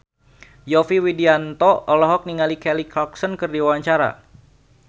Yovie Widianto olohok ningali Kelly Clarkson keur diwawancara